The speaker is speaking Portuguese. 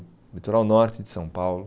O litoral norte de São Paulo.